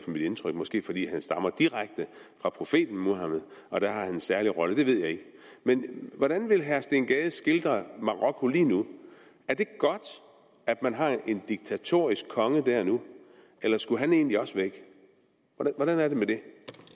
mit indtryk måske fordi han stammer direkte fra profeten muhammed og der har han en særlig rolle det ved jeg ikke men hvordan vil herre steen gade skildre marokko lige nu er det godt at man har en diktatorisk konge der nu eller skulle han egentlig også væk hvordan er det med det